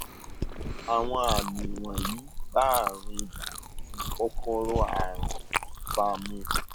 àwọn àmì wọnyí bá àrùn ibà tí kòkòrò àrùn ń fà mu